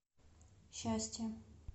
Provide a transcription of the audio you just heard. счастье